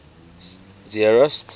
zeerust